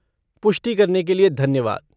पुष्टि करने के लिए धन्यवाद।